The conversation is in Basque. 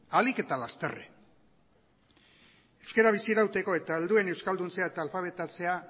ahalik eta lasterren euskara bizirauteko eta helduen euskalduntzea eta alfabetatzea